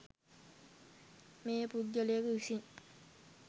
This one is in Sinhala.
මෙය පුද්ගලයෙකු විසින්